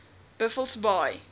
buffelsbaai